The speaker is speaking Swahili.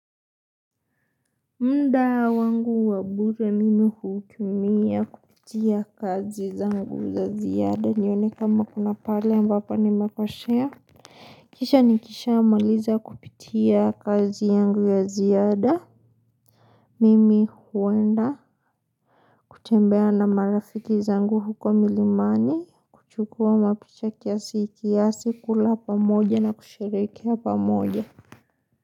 Muda wangu wa bure mimi hutumia kupitia kazi zangu za ziada nione kama kuna pahali ambapo nimekosea. Kisha nikishamaliza kupitia kazi yangu ya ziada Mimi huenda kutembea na marafiki zangu huko milimani kuchukua mapicha kiasi kiasi, kula pamoja na kusherehekea pamoja.